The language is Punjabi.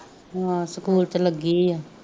ਹਮ ਸਕੂਲ ਚ ਲੱਗੀ ਆ